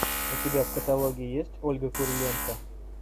у тебя в каталоге есть ольга куриленко